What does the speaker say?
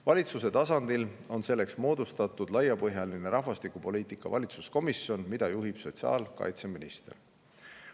Valitsuse tasandil on selleks moodustatud laiapõhjaline rahvastikupoliitika valitsuskomisjon, mida juhib sotsiaalkaitseminister.